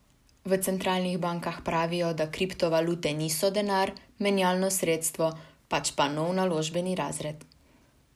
V centralnih bankah pravijo, da kriptovalute niso denar, menjalno sredstvo, pač pa nov naložbeni razred.